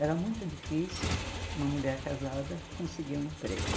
Era muito difícil uma mulher casada conseguir um emprego.